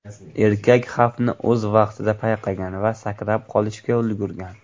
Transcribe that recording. Erkak xavfni o‘z vaqtida payqagan va sakrab qolishga ulgurgan.